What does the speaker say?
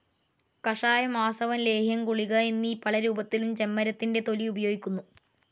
കഷായം, ആസവം, ലേഹ്യം, ഗുളിക എന്നീ പലരൂപത്തിലും ചെമ്മരത്തിന്റെ തൊലി ഉപയോഗിക്കുന്നു.